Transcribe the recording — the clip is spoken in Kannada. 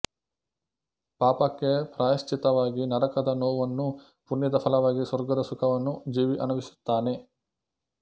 ಪಾಪಕ್ಕೆ ಪ್ರಾಯಶ್ಚಿತ್ತವಾಗಿ ನರಕದ ನೋವನ್ನೂ ಪುಣ್ಯದ ಫಲವಾಗಿ ಸ್ವರ್ಗದ ಸುಖವನ್ನೂ ಜೀವಿ ಅನುಭವಿಸುತ್ತಾನೆ